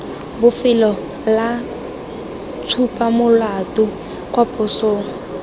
bofelo la tshupamolato kwa posong